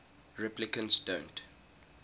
replicants don't